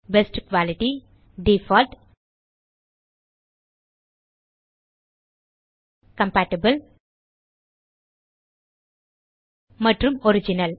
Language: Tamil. பெஸ்ட் குயாலிட்டி டிஃபால்ட் கம்பேட்டிபிள் மற்றும் ஒரிஜினல்